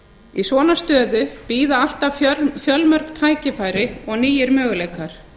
í svona stöðu bíða alltaf fjölmörg tækifæri og nýir möguleikar